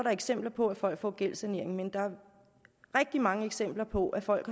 er eksempler på at folk får gældssanering men der er rigtig mange eksempler på at folk